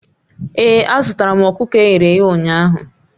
Ee, azụtaram ọkụkọ e ghere eghe ụnyaahụ